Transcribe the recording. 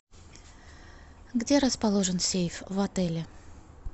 где расположен сейф в отеле